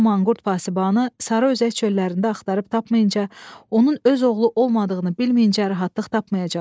Bu Manqurt Vasibanı sarı özək çöllərində axtarıb tapmayınca, onun öz oğlu olmadığını bilməyincə rahatlıq tapmayacaq.